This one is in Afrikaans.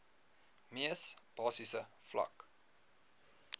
mees basiese vlak